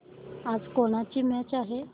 आज कोणाची मॅच आहे